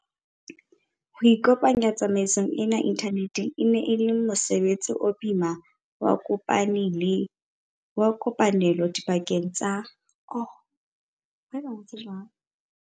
Ho kopanya tsamaiso ena inthaneteng e ne e le mose betsi o boima wa kopane lo dipakeng tsa.